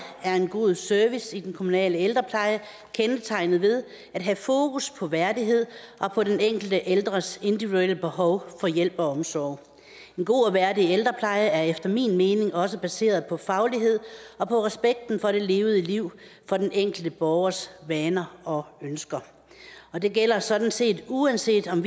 er en god service i den kommunale ældrepleje kendetegnet ved at have fokus på værdighed og på den enkelte ældres individuelle behov for hjælp og omsorg en god og værdig ældrepleje er efter min mening også baseret på faglighed og på respekten for det levede liv for den enkelte borgers vaner og ønsker og det gælder sådan set uanset om